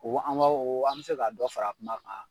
an bɛ se ka dɔ fara kuma kan.